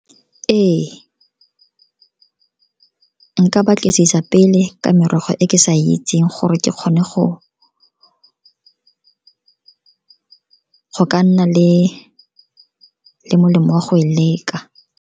Ee, nka batlisisa pele ka merogo e ke sa itseng gore ke kgone go ka nna le molemo wa go e leka.